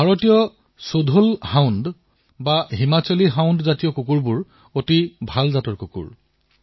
ভাৰতীয় ব্ৰীডৰ Mudhol hound Himachali hound ভাল জাতৰ হয়